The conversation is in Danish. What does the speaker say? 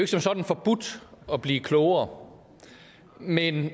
som sådan forbudt at blive klogere men